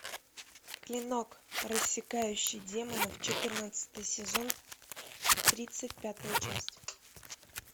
клинок рассекающий демонов четырнадцатый сезон тридцать пятая часть